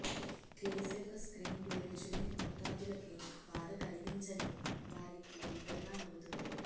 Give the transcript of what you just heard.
క్లీస్ యొక్క screenplay రుచిలేని మోతాదులకి బాధ కలిగించని వారికి బిగ్గరగా నవ్వుతుంది